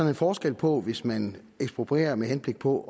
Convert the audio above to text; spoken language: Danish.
en forskel på hvis man eksproprierer med henblik på